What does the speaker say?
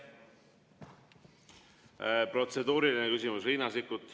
Protseduuriline küsimus, Riina Sikkut.